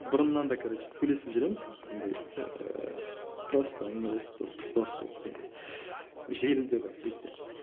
бұрыннан да короче сөйлесіп жүреміз андай ыыы просто әңгімелесіп дос дос болып деген сияқты желіде бірақ сетте